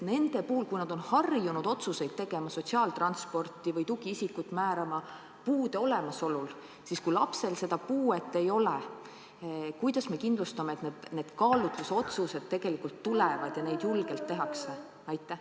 Kui nad on harjunud otsuseid tegema, näiteks sotsiaaltransporti või tugiisikut määrama, puude olemasolu põhjal, siis kuidas me kindlustame, et kui lapsel puuet ei ole, siis julgetakse teha kaalutlusotsusi?